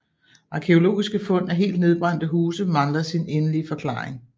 Arkæologiske fund af helt nedbrændte huse mangler sin endelige forklaring